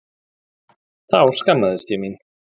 Þá skammaðist ég mín.